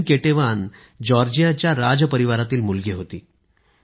queen Ketevan जॉर्जियाच्या राज परिवारातील मुलगी होती